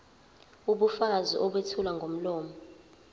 ubufakazi obethulwa ngomlomo